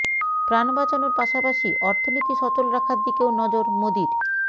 প্রাণ বাঁচানোর পাশাপাশি অর্থনীতি সচল রাখার দিকেও নজর মোদীর